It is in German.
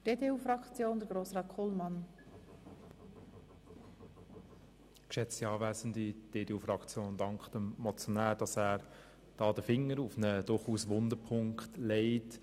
Die EDU-Fraktion dankt dem Motionär dafür, dass er den Finger auf einen durchaus wunden Punkt legt.